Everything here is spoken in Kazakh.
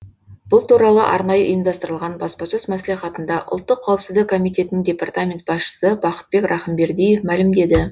бұл туралы арнайы ұйымдастырылған баспасөз мәслихатында ұлттық қауіпсіздік комитетінің департамент басшысы бақытбек рахымбердиев мәлімдеді